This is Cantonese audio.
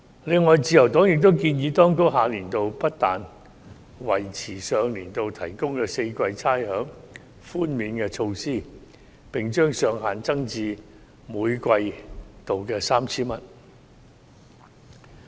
此外，自由黨亦建議當局下年度不但維持上年度提供4季差餉寬免措施，並把上限增至每季度 3,000 元。